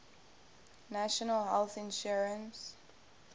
national health insurance